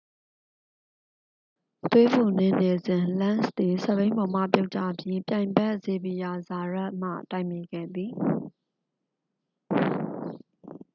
သွေးပူနင်းနေစဉ် လန့်စ်သည် စက်ဘီးပေါ်မှပြုတ်ကျပြီး ပြိုင်ဘက် ဇေဗီယာ ဇာယတ်မှ တိုက်မိခဲ့သည်